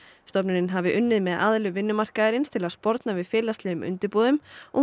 stofnunin hafi unnið með aðilum vinnumarkaðarins til að sporna við félaglegum undirboðum og